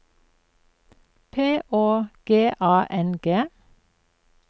P Å G A N G